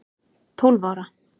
Tólf ára